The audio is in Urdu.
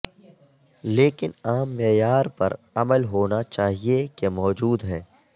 لیکن عام معیار پر عمل ہونا چاہئے کہ موجود ہیں